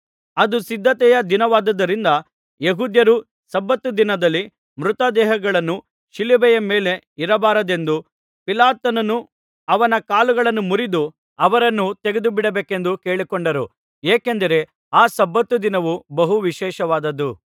ಅದು ಸಿದ್ಧತೆಯ ದಿನವಾದುದರಿಂದ ಯೆಹೂದ್ಯರು ಸಬ್ಬತ್ ದಿನದಲ್ಲಿ ಮೃತದೇಹಗಳು ಶಿಲುಬೆಯ ಮೇಲೆ ಇರಬಾರದೆಂದು ಪಿಲಾತನನ್ನು ಅವರ ಕಾಲುಗಳನ್ನು ಮುರಿದು ಅವರನ್ನು ತೆಗೆದುಬಿಡಬೇಕೆಂದು ಕೇಳಿಕೊಂಡರು ಏಕೆಂದರೆ ಆ ಸಬ್ಬತ್ ದಿನವು ಬಹು ವಿಶೇಷವಾದದ್ದು